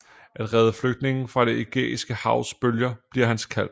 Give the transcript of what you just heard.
At redde flygtninge fra det Ægæiske Havs bølger bliver hans kald